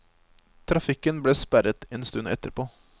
Trafikken ble sperret en stund etterpå.